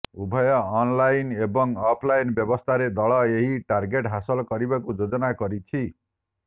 ଉଭୟ ଅନଲାଇନ ଏବଂ offline ବ୍ୟବସ୍ଥାରେ ଦଳ ଏହି ଟାର୍ଗେଟ୍ ହାସଲ କରିବାକୁ ଯୋଜନା କରିଛି